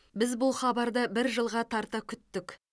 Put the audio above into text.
біз бұл хабарды бір жылға тарта күттік